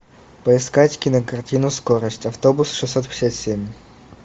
поискать кинокартину скорость автобус шестьсот пятьдесят семь